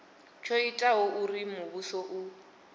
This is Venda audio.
tsho itaho uri muvhuso u